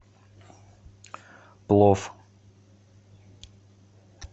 плов